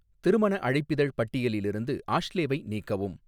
திருமண அழைப்பிதழ் பட்டியலில் இருந்து ஆஷ்லேவை நீக்கவும்